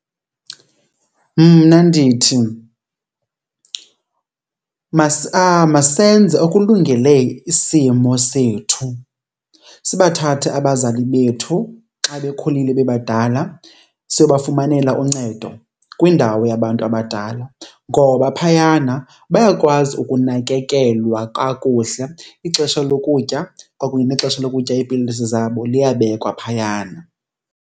Mna ndithi masenze okulungele isimo sethu, sibathathe abazali bethu xa bekhulile bebadala siyobafumanele uncedo kwindawo yabantu abadala ngoba phayana bayakwazi ukunakekelwa kakuhle. Ixesha lokutya kwakunye nexesha lokutya iipilisi zabo liyabekwa phayana.